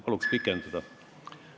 Palun ajapikendust!